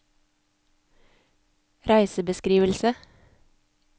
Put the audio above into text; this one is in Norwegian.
reisebeskrivelse